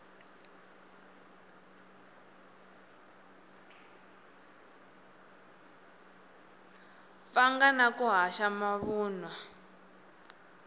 pfanga na ku haxa mavunwa